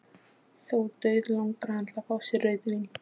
Þó dauðlangar hann til að fá sér rauðvín.